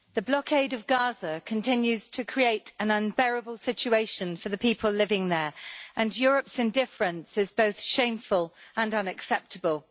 Madam President, the blockade of Gaza continues to create an unbearable situation for the people living there, and Europe's indifference is both shameful and unacceptable.